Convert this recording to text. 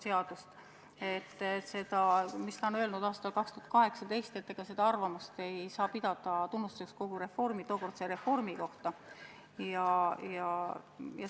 Seda arvamust, mis ta on öelnud aastal 2018, ei saa pidada kogu tookordse reformi tunnustuseks.